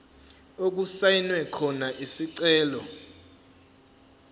okusayinwe khona isicelo